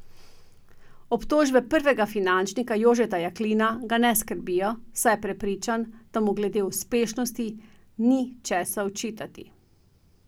Obtožbe prvega finančnika Jožeta Jaklina ga ne skrbijo, saj je prepričan, da mu glede uspešnosti ni česa očitati.